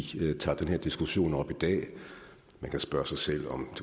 tager den her diskussion op i dag man kan spørge sig selv om